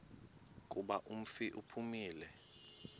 kuba umfi uphumile